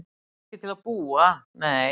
Ekki til að búa, nei.